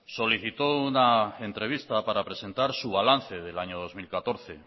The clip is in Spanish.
solicitó una entrevista para presentar su balance del año dos mil catorce